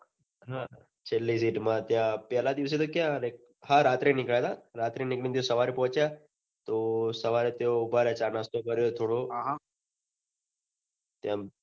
હા છેલ્લી seat મા ત્યાં પહલા દિવસે તો ક્યાં હા રાતે નીકળ્યા હતા રાત્રે નીકળીને સવારે પહોચ્યા તો સવારે ત્યાં ઉભા રહ્યા ચા નાસ્તો કર્યો થોડો આહ તેમ